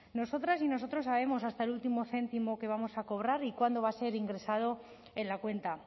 nosotras y nosotros sabemos hasta el último céntimo que vamos a cobrar y cuándo va a ser ingresado en la cuenta